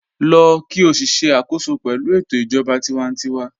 Lọ́ kí o sì ṣẹ̀ àkòsọ pẹ̀lú ètò ijọba tìwántíwà